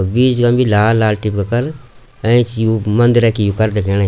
बीच मा भी लाल लाल टिपका कर एंच यू मंदिरा की यू पर दिखेंणि।